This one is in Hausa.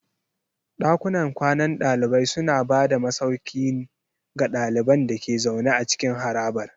Ɗakunan kwanan ɗalibai suna ba da masauki ga ɗaliban da ke zaune a cikin harabar.